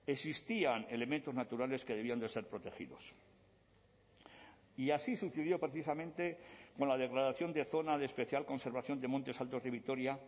existían elementos naturales que debían de ser protegidos y así sucedió precisamente con la declaración de zona de especial conservación de montes altos de vitoria